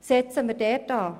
Setzen wir dort an!